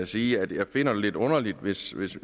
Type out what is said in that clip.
sige at jeg finder det lidt underligt hvis